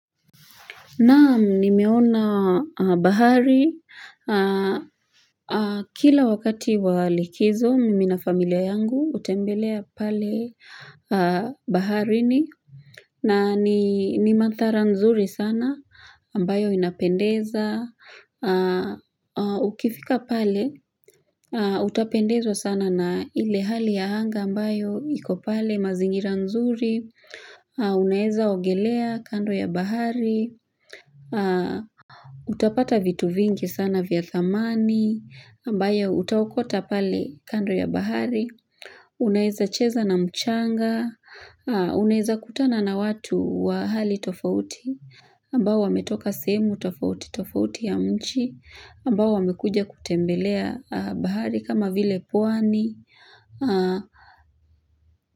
Naam, nimeona bahari. Kila wakati walikizo, mimi na familia yangu hutembelea pale baharini. Na ni mandhari nzuri sana. Ambayo inapendeza. Ukifika pale, utapendezwa sana na ile hali ya anga ambayo ikopale mazingira nzuri. Unaweza ogelea kando ya bahari. Utapata vitu vingi sana vya thamani ambayo utaokota pale kando ya bahari unaweza cheza na mchanga unaweza kutana na watu wa hali tofauti ambao wame toka sehemu tofauti tofauti ya mji ambao wamekuja kutembelea bahari kama vile pwani.